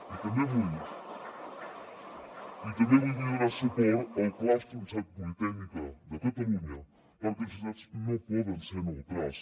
i també avui vull donar suport al claustre de la universitat politècnica de catalunya perquè les universitats no poden ser neutrals